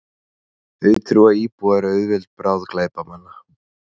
Auðtrúa íbúar auðveld bráð glæpamanna